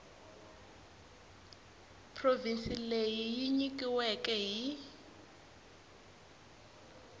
provhinsi leyi yi nyikiweke hi